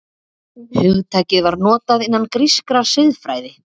Hugtakið var notað innan grískrar siðfræði.